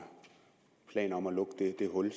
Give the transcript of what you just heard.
planer om at lukke det hul i